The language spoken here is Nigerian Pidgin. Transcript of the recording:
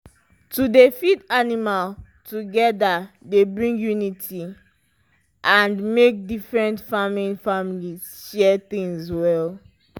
to dey feed animal together dey bring unity and make different farming families share things well.